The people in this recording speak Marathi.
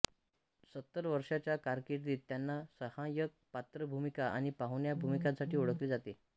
सत्तर वर्षांच्या कारकिर्दीत त्यांना सहाय्यक पात्र भूमिका आणि पाहुण्या भूमिकांसाठी ओळखले जाते